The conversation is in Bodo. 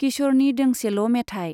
किश'रनि दोंसेल' मेथाइ।